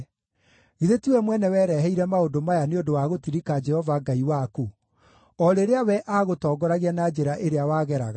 Githĩ tiwe mwene wĩrehereire maũndũ maya nĩ ũndũ wa gũtirika Jehova Ngai waku, o rĩrĩa we aagũtongoragia na njĩra ĩrĩa wageraga?